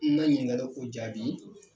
N' na ɲininkali o jaabi